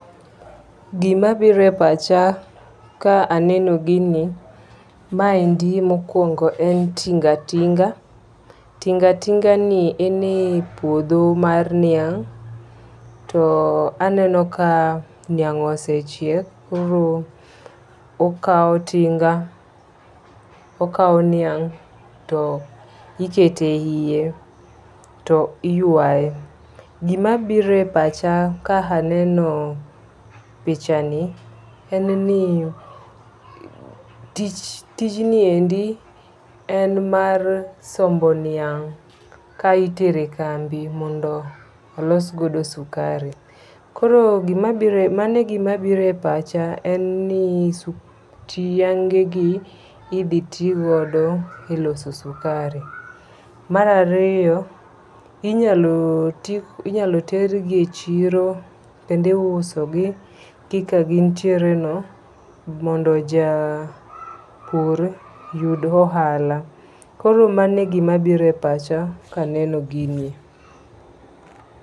Gimabire pacha ka aneno gini maendi mokwongo en tingatinga. Tingatinga ni en e puodho mar niang' ,to aneno ka niang' osechiek koro okawo tinga okawo niang' to ikete yie to iywayo. Gimabire pacha ka aneno picha ni en ni tich tijni endi en mar sombo niang' kai tere kambi mondo olos godo sukari. Koro gimabire pacha mane gima bire pacha en ni niange gi idhi tigo loso sukari. Mar ariyo inyalo ti onyalo ter gi echiro kendo iuoso gi kaka gintiere no mondo ja pur oyud ohala. Koro mane gima bire pacha kaneno ginie